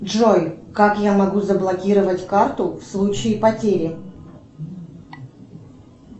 джой как я могу заблокировать карту в случае потери